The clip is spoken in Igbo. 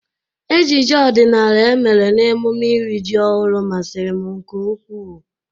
Ejije ọdịnala e mere n'emụme iri jị ọhụru masịrị m nke ukw,u.